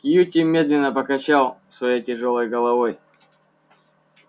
кьюти медленно покачал своей тяжёлой головой